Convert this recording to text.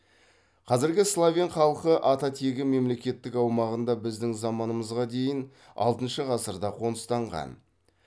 қазіргі словен халқы ата тегі мемлекеттің аумағында біздің заманымызға дейін алтыншы ғасырда қоныстанған